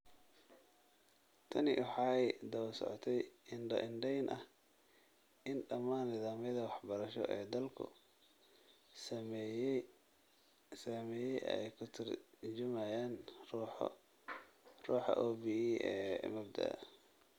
Tani waxay daba socotay indho-indhayn ah in dhammaan nidaamyada waxbarasho ee dalku sameeyay ay ka tarjumayaan ruuxa OBE ee mabda'a.